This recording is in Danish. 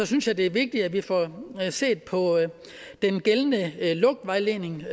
synes jeg det er vigtigt at vi får set på den gældende lugtvejledning